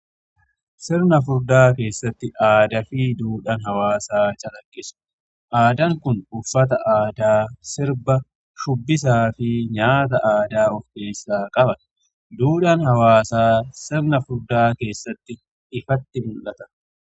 Sirna furdaa keessatti aadaa fi duudhan hawaasaa calaqqisu aadaan kun uffata aadaa, sirba, shubbisaa fi nyaata aadaa ofkeessaa qaba. Duudhan hawaasaa sirna furdaa keessatti ifatti mul'ata.